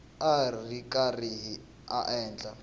a ri karhi a endla